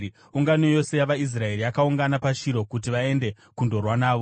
ungano yose yavaIsraeri yakaungana paShiro kuti vaende kundorwa navo.